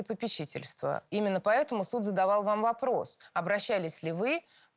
и попечительство именно поэтому суд задал вам вопрос обращались ли вы